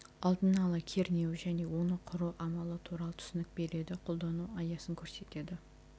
алдын ала кернеуі және оны құру амалы туралы түсінік береді қолдану аясын көрсетеді